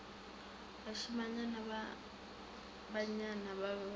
bašimanyana ba bannyane ba be